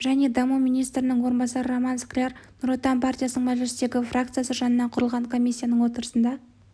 және даму министрінің орынбасары роман скляр нұр отан партиясының мәжілістегі фракциясы жанынан құрылған комиссияның отырысында